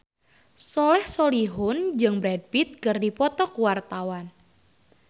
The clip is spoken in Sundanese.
Soleh Solihun jeung Brad Pitt keur dipoto ku wartawan